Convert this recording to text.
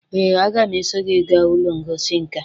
ee, aga m eso gị gaa ụlọ ngosi nka